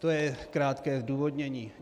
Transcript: To je krátké zdůvodnění.